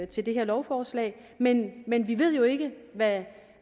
til det her lovforslag men men vi ved jo ikke hvad